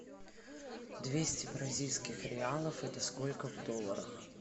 двести бразильских реалов это сколько в долларах